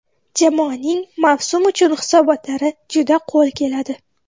Jamoaning mavsum uchun hisobotlari juda qo‘l keladi.